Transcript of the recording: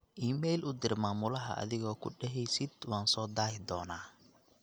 iimayl u dir maamulaha adigoo ku daheysid waan soo dahi doona